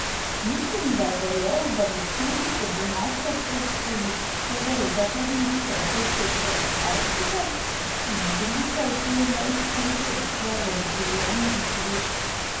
Mislim, da je verjel, da bo s tem, ko bo našel pot skozi severozahodni prehod čez Arktiko, izbrisal te neuspehe iz svojega življenja in slovesa.